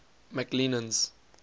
mcclennan's